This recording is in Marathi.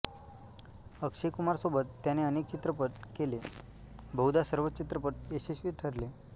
अक्षय कुमार सोबत त्याने अनेक चित्रपट केले व बहुदा सर्वच चित्रपट यशस्वी ठरले